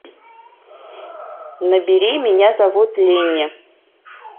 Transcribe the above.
набери меня зовут ленни